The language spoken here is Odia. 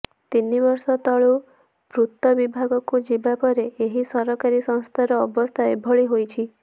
ତିନିବର୍ଷ ତଳୁ ପୂର୍ତ୍ତ ବିଭାଗକୁ ଯିବାପରେ ଏହି ସରକାରୀ ସଂସ୍ଥାର ଅବସ୍ଥା ଏଭଳି ହୋଇଛି